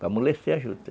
Para amolecer a juta.